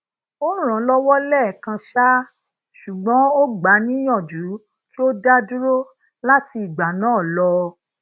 o ran an lowo lẹẹkan um ṣugbọn o gba a niyaju ki o daduro lati igba naa lọ